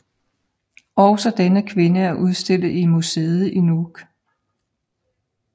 Også denne kvinde er udstillet i museet i Nuuk